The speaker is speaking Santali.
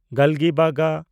ᱜᱟᱞᱜᱤᱵᱟᱜᱟ